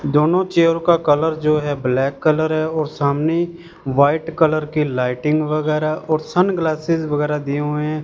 दोनों चेयर का कलर जो है ब्लैक कलर है और सामने व्हाइट कलर की लाइटिंग वगेरह और सनग्लासेस वगेरह दिये हुए है।